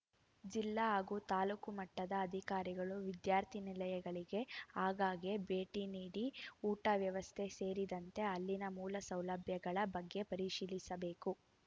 ಜಿಲ್ಲಾ ಹಾಗೂ ತಾಲೂಕು ಮಟ್ಟದ ಅಧಿಕಾರಿಗಳು ವಿದ್ಯಾರ್ಥಿ ನಿಲಯಗಳಿಗೆ ಆಗಾಗ್ಗೆ ಭೇಟಿ ನೀಡಿ ಊಟದ ವ್ಯವಸ್ಥೆ ಸೇರಿದಂತೆ ಅಲ್ಲಿನ ಮೂಲ ಸೌಲಭ್ಯಗಳ ಬಗ್ಗೆ ಪರಿಶೀಲಿಸಬೇಕು